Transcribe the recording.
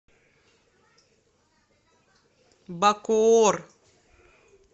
бакоор